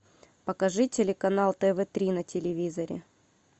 покажи телеканал тв три на телевизоре